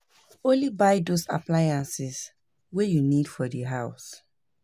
Only buy those appliances wey you need for di house